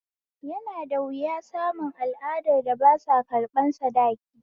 Yana da wuna samun al'adar da basa ƙarɓan sadaki